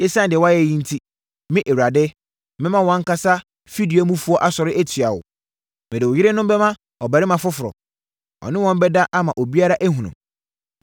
“Esiane deɛ woayɛ yi enti, me Awurade, mɛma wʼankasa fidua mufoɔ asɔre atia wo. Mede wo yerenom bɛma ɔbarima foforɔ, na ɔne wɔn bɛda ama obiara ahunu.